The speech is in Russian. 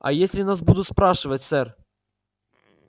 а если нас будут спрашивать сэр